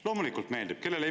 Loomulikult meeldib!